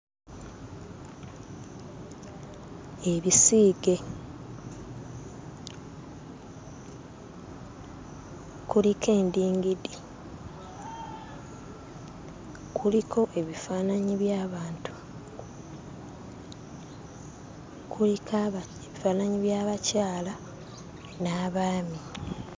Ebisiige; kuliko endingidi, kuliko ebifaananyi by'abantu, kuliko aba... ebifaananyi by'abakyala n'abaami.